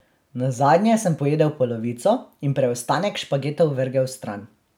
Nazadnje sem pojedel polovico in preostanek špagetov vrgel stran.